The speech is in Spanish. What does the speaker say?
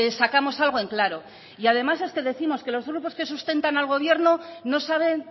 sacamos algo en claro y además es que décimos que los grupos que sustentan al gobierno no saben